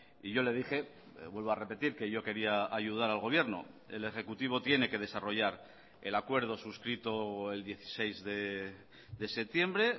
y yo le dije vuelvo a repetir que yo quería ayudar al gobierno el ejecutivo tiene que desarrollar el acuerdo suscrito el dieciséis de septiembre